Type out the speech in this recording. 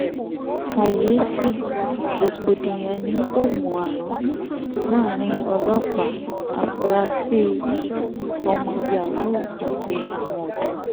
kàyééfẹ̀ rògbòdìyàn ni òmù àràn láàrin ọlọ́pàá àfúráṣí ọmọ yahoo àti àwọn ọ̀dọ́